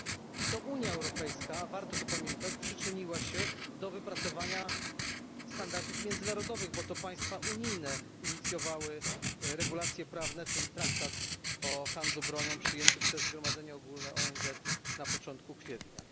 I to Unia Europejska warto to pamiętać przyczyniła się do wypracowania standardów międzynarodowych, bo to państwa unijne inicjowały regulacje prawne, czyli traktat o handlu bronią przyjęty przez Zgromadzenie Ogólne ONZ na początku kwietnia.